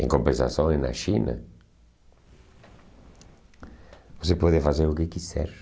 Em compensação, em na China, você pode fazer o que quiser.